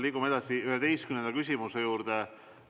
Liigume edasi 11. küsimuse juurde.